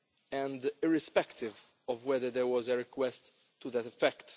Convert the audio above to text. and irrespective of whether there has been a request to that effect.